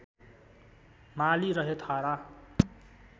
माली रहे थारा